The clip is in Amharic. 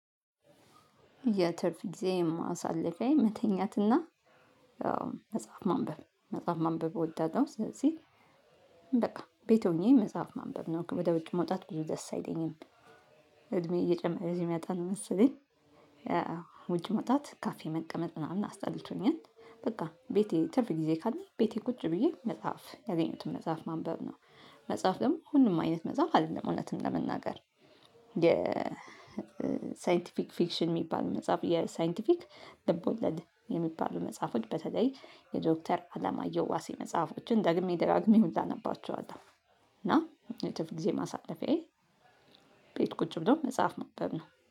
የትርፍጊዜ ማሳለፊያየ መተኛትና ያው መጽሐፍ ማንበብ መጽሐፍ ማንበብ እወዳለው ስለዚህ በቃ ቤት ሆኜ መጽሐፍ ማንበብ ነው ወደ ውጭ መውጣት ብዙ ደስ አይለኝም። እድሜ እየጨመረ ሲመጣ ነው መሰለኝ። ውጭ መውጣት ካፌ መቀመጥ ምናምን አስጠልቶኛል። በቃ ቤቴ ትርፍ ጊዜ ካለ ቤቴ ቁጭ ብዬ መጽሐፍ ያገኘሁትም መጽሐፍ ማንበብ ነው። መጽሐፍ ደሞ ሁሉም አይነት መጽሐፍ አደለም እውነቱን ለመናገር። የሳይንቲፊክ ፊክሽን የሚባል መጽሐፍ የሳይንቲፊክ ልቦለድ የሚባሉ መጽሐፎች በተለይ የዶክተር አላማዬ ዋሴ መጽሐፎችን ደግሜ ደጋግሜ ሁላ ነባቸዋለሁ። እና ትርፍ ጊዜ ማሳለፊያየ። ቤት ቁጭ ብለው መጽሐፍ ማንበብ ነው